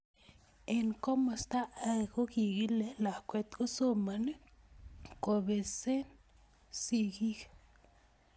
Eng komosta age kokiikilei lakwet kosoman kobesen sigik